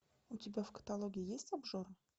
у тебя в каталоге есть обжора